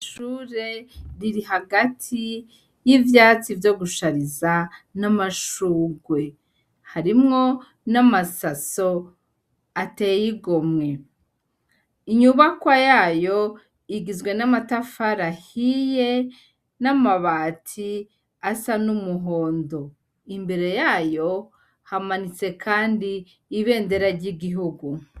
Ishure riri hagati y'ivyatsi vyo gushariza n'amashurwe. Harimwo n'amasaso atey'igomwe. Inyubakwa yayo igizwe n'amatafari ahiye n'amabati asa n'umuhondo. Imbere yayo hamanitse kandi ibendera y'igihugu.